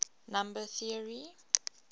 number theory